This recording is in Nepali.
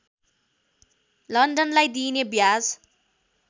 लन्डनलाई दिइने ब्याज